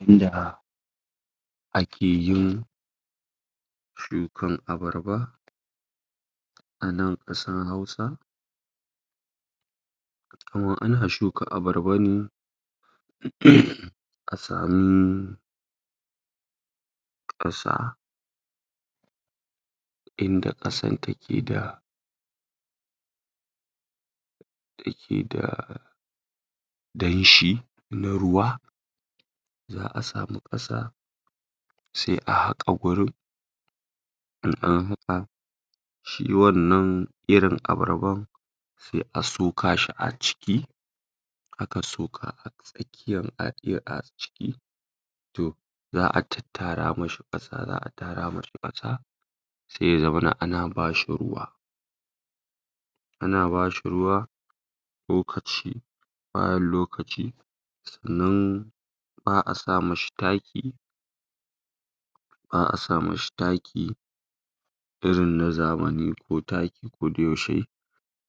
yanda akeyin shukan abarba a nan kasar hausa daman ana shuka abarba ne? a samu kasa inda kasa take da take da danshi na ruwa za'a samu kasa sai a haka wurin in an haka shi wannan irin abarban sai a soka shi a ciki aka soka a tsakkiyan a ciki to za'a tattara mashi kasa za'a tara mashi kasa sai ya zamana ana bashi ruwa ana bashi ruwa lokaci bayan lokaci sannan ba'a sa mashi taki ba'a sa mashi taki irin na zamani kotaki koda yaushe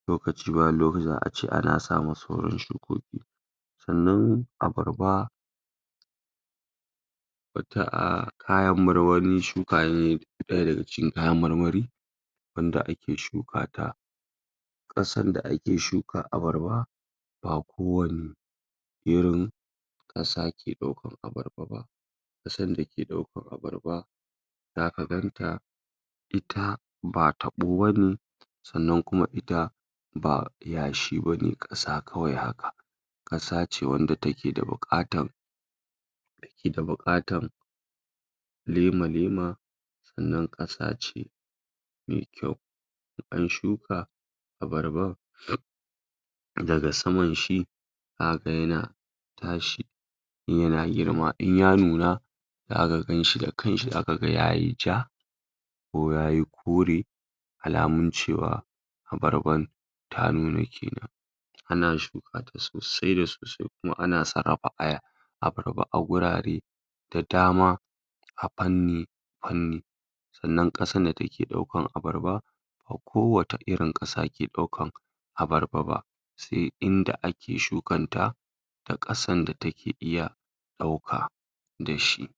lokaci bayan lokaci za'ace ana sa ma sauran shukoki sannan abarba batta a kayan mar wani shukane daya daga cikin kayan marmari wanda ake shuka ta kasan da ake shukar abarba ba kowanne irin kasa ke daukan abarba ba kasan dake daukan abarba zaka ganta ita ba tabo bane sannan kuma ita ba yashi bane kasa kawai haka kasace wanda take da bukatan keda bukatan lema lema sannan kasa ce me kyau sannan shuka abarba daga saman shi zaka ga yana tashi yana girma inya nuna zaka ganshi da kanshi zakaga yayi ja ko yayi kore alamun cewa abarban ta nuna kenan ana shuka ta sosai da sosai kuma ana sarrafa aya abarba a gurare da dama a fanni fanni sannan kasan da take daukar abarba ba kowace irin kasa ke daukar abarba ba sai inda ake shukanta a kasan da take iya dauka dashi